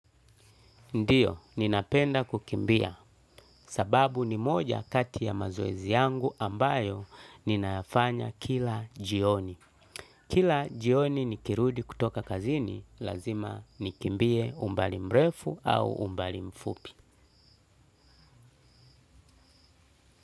Ndiyo, ninapenda kukimbia sababu ni moja kati ya mazoezi yangu ambayo ninafanya kila jioni. Kila jioni nikirudi kutoka kazini, lazima nikimbie umbali mrefu au umbali mfupi.